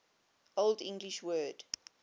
old english word